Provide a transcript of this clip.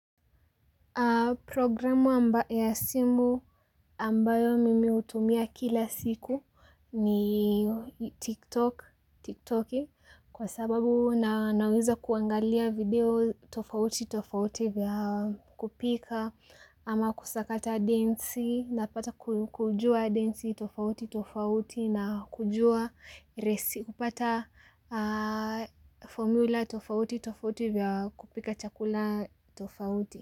Programu ya simu ambayo mimi hutumia kila siku ni, TikToki kwa sababu na naweza kuangalia video tofauti tofauti vya kupika, ama kusakata densi napata kujua densi tofauti tofauti na kujua resi, kupata, formula tofauti tofauti vya kupika chakula tofauti.